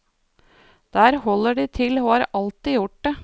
Der holder de til, og har alltid gjort det.